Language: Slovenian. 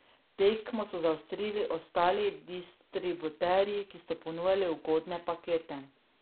Tekmo so zaostrili ostali distributerji, ki so ponujali ugodne pakete.